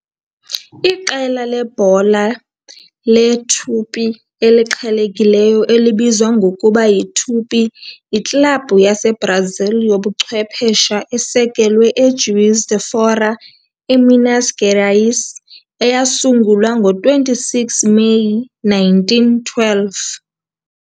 Iqela lebhola leTupi, eliqhelekileyo elibizwa ngokuba yiTupi, yiklabhu yaseBrazil yobuchwephesha esekelwe eJuiz de Fora, eMinas Gerais eyasungulwa ngo-26 Meyi 1912.